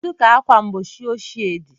Kedu ka ákwà mgbochi ochie dị?